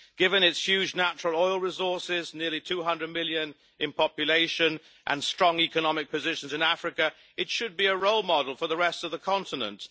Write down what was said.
Given its huge natural oil resources, nearly 200 million in population and strong economic position in Africa, it should be a role model for the rest of the continent.